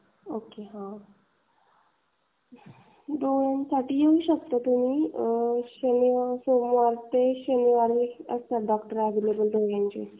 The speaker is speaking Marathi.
ओके हां दोन साठी येऊ शकता तुम्ही डॉक्टर असणार अॅवेलेबल सोमवार ते. शनिवारी.